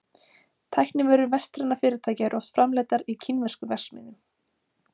Tæknivörur vestrænna fyrirtækja eru oft framleiddar í kínverskum verksmiðjum.